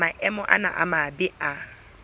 maemo ana a mabe a